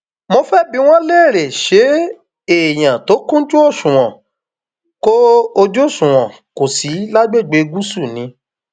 mo fẹẹ bi wọn léèrè ṣé èèyàn tó kúnjú òṣùwọn kò òṣùwọn kò sí lágbègbè gúúsù ni